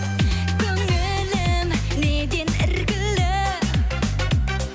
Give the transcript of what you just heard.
көңілім неден іркілді